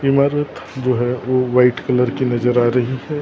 इमारत जो है वो व्हाइट कलर की नजर आ रही है और।